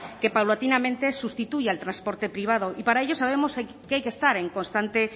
que paulatinamente sustituye al transporte privado y para ello sabemos que hay que estar en constante